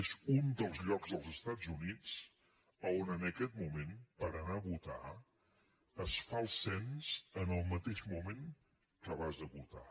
és un dels llocs dels estats units a on en aquest moment per anar a votar es fa el cens en el mateix moment que vas a votar